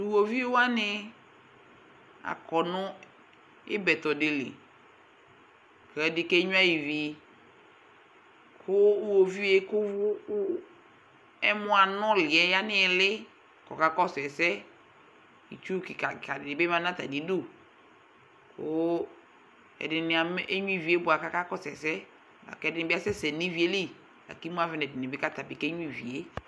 Tiwoviʋ wani , akɔ nʋ ibɛtɔ diliKɛdi kenyua iviKʋ iwoviʋe kʋ ɛmɔ anuliɛ ya niɣili kɔka kɔsʋ ɛsɛItsu kika kika dini bi ma natamiduKʋ ɛdini enyuivie bua kakakɔsu ɛsɛ Akɛdini bi asɛsɛ nivie li Akimu avɛ nɛdini bi kakenyuivie